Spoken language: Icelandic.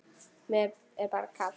Mér er bara kalt.